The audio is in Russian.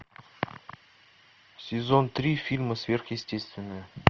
сезон три фильма сверхъестественное